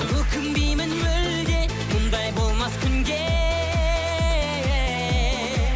өкінбеймін мүлде мұндай болмас күнде